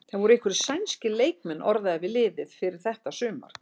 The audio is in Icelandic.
Það voru einhverjir sænskir leikmenn orðaðir við liðið fyrir þetta sumar?